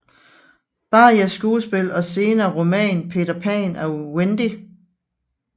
Barries skuespil og senere roman Peter Pan og Wendy